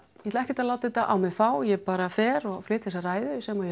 ég ætla ekkert að láta þetta á mig fá ég bara fer og flyt þessa ræðu sem ég